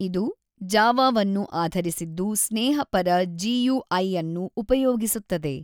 ಇದು ಜಾವಾವನ್ನು ಆಧರಿಸಿದ್ದು ಸ್ನೇಹಪರ ಜಿಯುಐಅನ್ನು ಉಪಯೋಗಿಸುತ್ತದೆ.